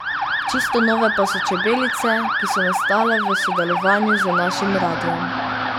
Čisto nove pa so Čebelice, ki so nastale v sodelovanju z našim Radiem.